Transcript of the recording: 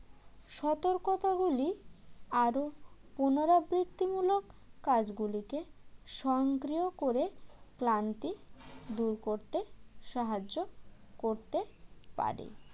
সতর্কতাগুলি আরও পুনরাবৃত্তিমূলক কাজগুলিকে সংগ্রহ করে ক্লান্তি দুর করতে সাহায্য করতে পারে